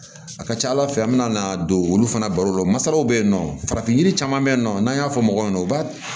A ka ca ala fɛ an bɛna don olu fana baro la masaraw bɛ yen nɔ farafin yiri caman bɛ yen nɔ n'an y'a fɔ mɔgɔw ɲɛna u b'a